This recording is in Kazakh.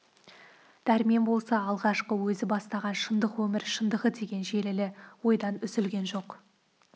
дәрмен болса алғашқы өзі бастаған шындық өмір шындығы деген желілі ойдан үзілген жоқ